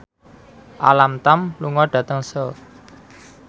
Alam Tam lunga dhateng Seoul